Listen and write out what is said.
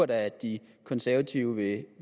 da at de konservative